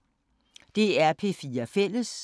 DR P4 Fælles